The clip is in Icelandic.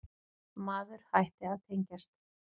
Maður hætti að tengjast.